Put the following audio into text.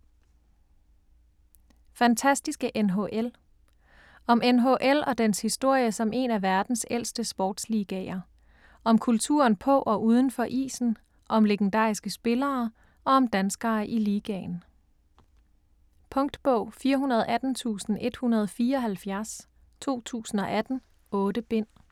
Fantastiske NHL Om NHL og dens historie som en af verdens ældste sportsligaer. Om kulturen på og udenfor isen, om legendariske spillere og om danskere i ligaen. Punktbog 418174 2018. 8 bind.